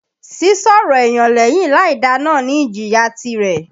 Sísọ̀rọ̀ èyàn lẹ́yìn láìda náà ní ìjìyà tirẹ̀.